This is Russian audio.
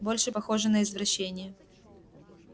больше похоже на извращение